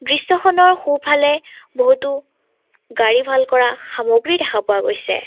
দৃশ্যখনৰ সোঁফালে বহুতো গাড়ী ভাল কৰা সামগ্ৰী দেখা পোৱা গৈছে।